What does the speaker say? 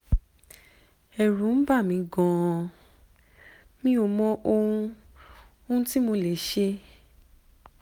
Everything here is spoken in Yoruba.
ẹ̀rù ń bà mí gan-an mi ò mọ ohun ohun tí mo lè ṣe